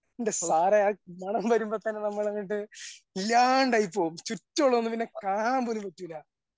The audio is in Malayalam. എൻ്റെ സാറേ ആ മണം വരുമ്പോതന്നെ നമ്മളങ്ങോട്ട് ഇല്ലാണ്ടായി പോവും ചുറ്റുമുള്ളതൊന്നും പിന്നെ കാണാൻപോലും പറ്റൂല